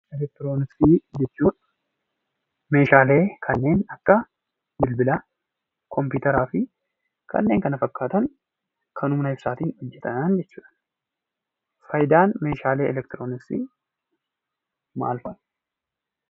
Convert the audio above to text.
Eleektirooniksii jechuun Meeshaalee kanneen akka bilbila, kompiitara fi kanneen kana fakkaatan kan humna ibsaatiin hojjetan jechuudha. Fayidaan Meeshaalee eleektirooniksii maal fa'ati?